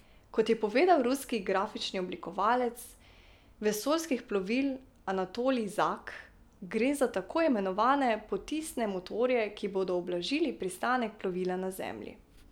Kot je povedal ruski grafični oblikovalec vesoljskih plovil Anatolij Zak, gre za tako imenovane potisne motorje, ki bodo ublažili pristanek plovila na Zemlji.